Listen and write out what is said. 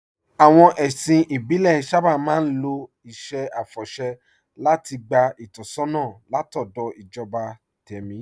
Àwọn ẹ̀sìn ìbílẹ̀ sábà máa ń lo iṣẹ́ àfọ̀ṣẹ́ láti gba ìtọ́sọ́nà látọ̀dọ̀ ìjọba tẹ̀mí